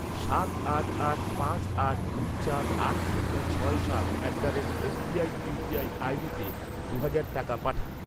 সাত আট আট পাঁচ আট দুই চার আট শূন্য ছয় সাত at the rate SBI UPI আইডিতে দু'হাজার টাকা পাঠান।